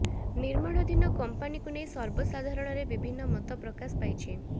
ନିର୍ମାଣାଧୀନ କମ୍ପାନିକୁ ନେଇ ସର୍ବସାଧାରଣରେ ବିଭିନ୍ନ ମତ ପ୍ରକାଶ ପାଇଛି